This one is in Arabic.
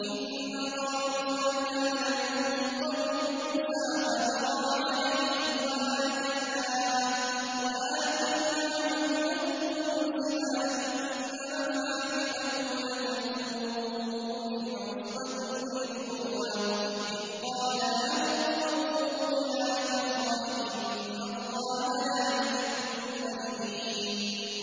۞ إِنَّ قَارُونَ كَانَ مِن قَوْمِ مُوسَىٰ فَبَغَىٰ عَلَيْهِمْ ۖ وَآتَيْنَاهُ مِنَ الْكُنُوزِ مَا إِنَّ مَفَاتِحَهُ لَتَنُوءُ بِالْعُصْبَةِ أُولِي الْقُوَّةِ إِذْ قَالَ لَهُ قَوْمُهُ لَا تَفْرَحْ ۖ إِنَّ اللَّهَ لَا يُحِبُّ الْفَرِحِينَ